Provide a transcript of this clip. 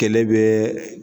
Kɛlɛ bɛ